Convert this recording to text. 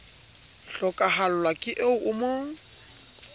hlokahallwa ke eo o mo